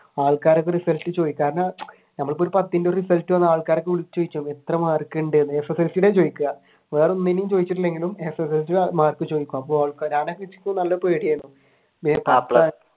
ആൾക്കാരൊക്കെ റിസൾട്ട് ചോയ്ക്കും കാരണം ഞമ്മള് ഇപ്പൊ പത്തിന്റെ റിസൾട്ട് വന്നാൽ ആള്കാരെയൊക്കെ എത്ര മാർക്കുണ്ട് SSLC യുടെയാണ് ചോദിക്കുക വേറെയൊന്നിന്റെം ചോദിച്ചില്ലെങ്കിലും SSLC യുടെ മാർക്ക് ചോദിക്കും